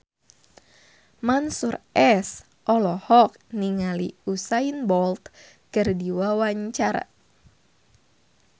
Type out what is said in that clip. Mansyur S olohok ningali Usain Bolt keur diwawancara